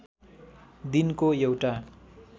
दिनको एउटा